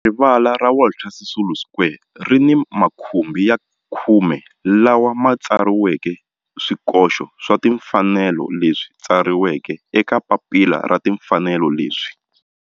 Rivala ra Walter Sisulu Square ri ni makhumbi ya khume lawa ma tsariweke swikoxo swa timfanelo leswi tsariweke eka papila ra timfanelo leswi